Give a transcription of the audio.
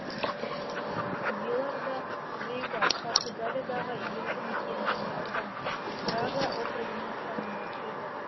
вилар да вейга португалиядағы елді мекен және аудан брага округінің құрамына кіреді